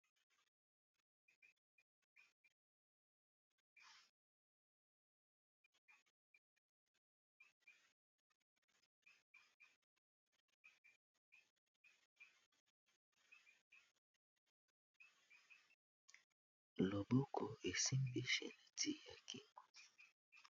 Loboko esimbi chaînette ya kingo.